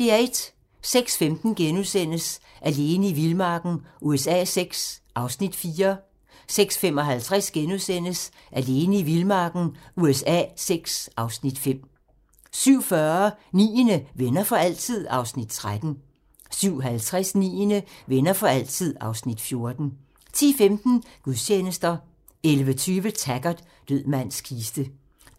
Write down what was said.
06:15: Alene i vildmarken USA VI (Afs. 4)* 06:55: Alene i vildmarken USA VI (Afs. 5)* 07:40: Niende - Venner for altid? (Afs. 13) 07:50: Niende - Venner for altid (Afs. 14) 10:15: Gudstjenester 11:20: Taggart: Død mands kiste